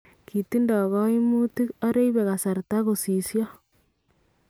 Kitindo kaimuutik , ara ibe kasarta kosisyoo